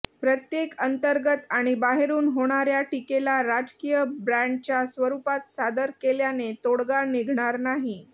प्रत्येक अंतर्गत आणि बाहेरून होणाऱया टीकेला राजकीय ब्रँडच्या स्वरुपात सादर केल्याने तोडगा निघणार नाही